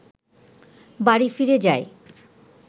বাড়ি ফিরে যায়